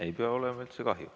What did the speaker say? Ei pea olema üldse kahju.